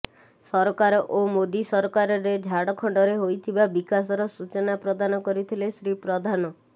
ସରକାର ଓ ମୋଦି ସରକାରରେ ଝାଡଖଣ୍ଡରେ ହୋଇଥିବା ବିକାଶର ସୂଚନା ପ୍ରଦାନ କରିଥିଲେ ଶ୍ରୀ ପ୍ରଧାନ